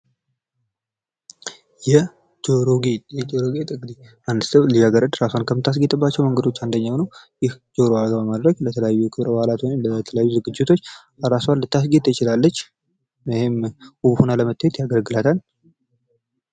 የጆሮ ጌጥ የጆሮ ጌጥ እንግዲህ አንድ ልጃገረድ ራሷን ከምታስጌጥባቸው ነገሮች አንደኛው ነው። ይህ ጆሮዋ ላይ በማድረግ ለተለያዩ ክብረ በዓላቶች ወይም ለተለያዩ ዝግጅቶች ራሷን ልታስጌጥ ትችላለች ይህም ውብ ሆነ ለመታየት ያገለግላታል።